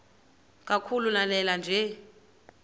kakhulu lanela nje